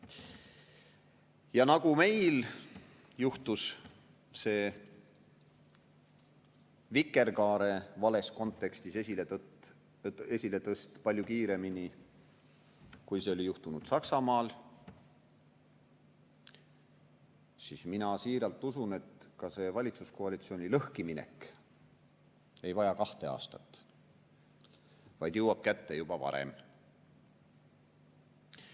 Ja nii nagu meil juhtus see vikerkaare vales kontekstis esiletõst palju kiiremini, kui see oli juhtunud Saksamaal, mina siiralt usun, et ka valitsuskoalitsiooni lõhkiminek ei vaja kahte aastat, vaid jõuab kätte juba varem.